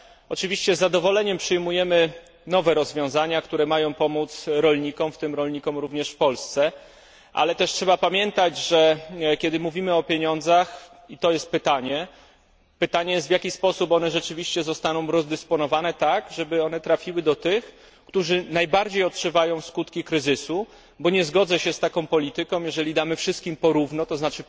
Oczywiście z zadowoleniem przyjmujemy nowe rozwiązania, które mają pomóc rolnikom, w tym rolnikom również w Polsce, ale też trzeba pamiętać, że kiedy mówimy o pieniądzach i to jest pytanie w jaki sposób zostaną one rzeczywiście rozdysponowane tak, żeby trafiły do tych, którzy najbardziej odczuwają skutki kryzysu, bo nie zgodzę się z taką polityką, jeżeli damy wszystkim po równo, tzn.